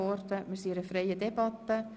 Wir führen eine freie Debatte.